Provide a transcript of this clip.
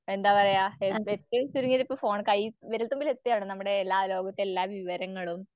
എന്താപറയ ഏറ്റവും ചുരുങ്ങിയതിപ്പം ഫോൺ കയ്യി വിരൽത്തുമ്പിലെത്തുകയാണ് നമ്മുടെ ലോകത്തെല്ലാവിവരങ്ങളും